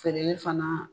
Feereli fana